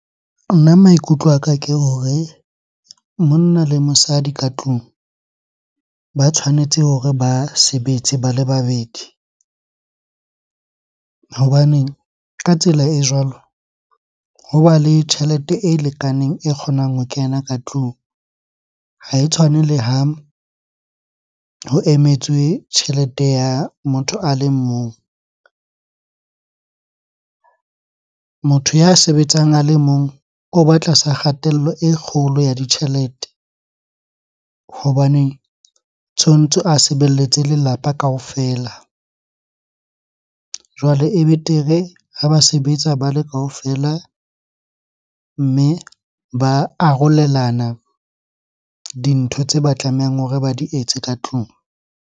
Nna maikutlo a ka ke hore monna le mosadi ka tlung ba tshwanetse hore ba sebetse ba le babedi. Hobane ka tsela e jwalo, hoba le tjhelete e lekaneng, e kgonang ho kena ka tlung. Ha e tshwane le ha ho emetswe tjhelete ya motho a le mong. Motho ya sebetsang a le mong o ba tlasa kgatello e kgolo ya ditjhelete hobaneng tshwantse a sebeletse lelapa kaofela. Jwale e betere ha ba sebetsa ba le kaofela, mme ba arolelana dintho tse ba tlamehang hore ba di etse ka tlung.